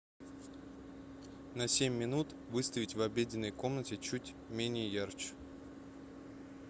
на семь минут выставить в обеденной комнате чуть менее ярче